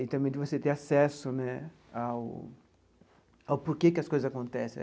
E também de você ter acesso né ao ao porquê que as coisas acontecem né.